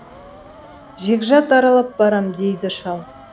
жегжат аралап барам дейді шал